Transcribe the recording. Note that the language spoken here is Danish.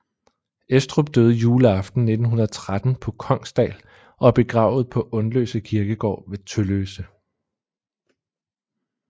Estrup døde juleaften 1913 på Kongsdal og er begravet på Undløse Kirkegård ved Tølløse